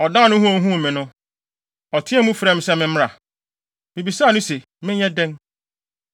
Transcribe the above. Ɔdan ne ho a ohuu me no, ɔteɛɛ mu frɛɛ me se memmra. Mibisaa no se, ‘Menyɛ dɛn?’